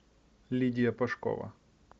лидия пашкова